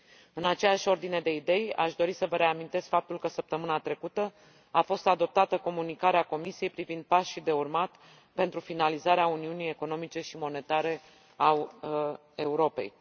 În aceeași ordine de idei, aș dori să vă reamintesc faptul că săptămâna trecută a fost adoptată comunicarea Comisiei privind pașii de urmat pentru finalizarea uniunii economice și monetare a Europei.